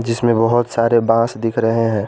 जिसमें बहुत सारे बांस दिख रहे हैं।